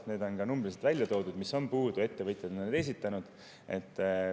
Ettevõtjad on ka numbriliselt välja toonud, milliseid on puudu.